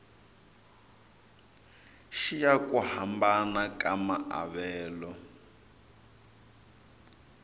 xiya ku hambana ka maavelo